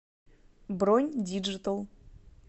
бронь диджитал